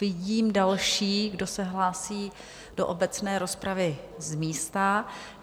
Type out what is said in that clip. Vidím další, kdo se hlásí do obecné rozpravy z místa.